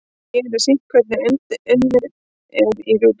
hér er sýnt hvernig undið er í rjúpu